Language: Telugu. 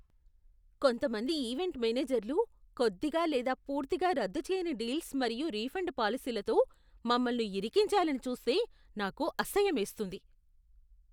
కొంతమంది ఈవెంట్ మేనేజర్లు కొద్దిగా లేదా పూర్తిగా రద్దు చేయని డీల్స్ మరియు రిఫండ్ పాలసీలతో మమ్మల్ని ఇరికించాలని చూస్తే నాకు అసహ్యమేస్తుంది.